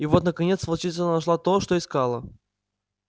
и вот наконец волчица нашла то что искала